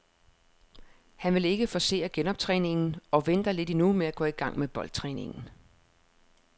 Han vil ikke forcere genoptræningen og venter lidt endnu med at gå i gang med boldtræningen.